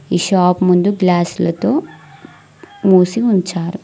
ఈ షాప్ ముందు గ్లాసుల తో మూసి ఉంచారు.